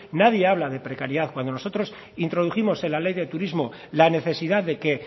nadie habla de precariedad cuando nosotros introdujimos en la ley de turismo la necesidad de que